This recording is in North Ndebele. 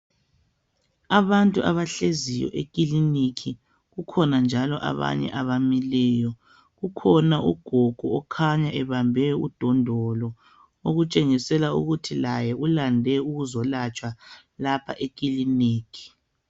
Abantu abahleziyo ekiliniki kukhona njalo abamileyo ukhona ugogo okhanya ebambe udondolo okutshengisela ukuthi laye ulande ukuzolatshwa lapha ekiliniki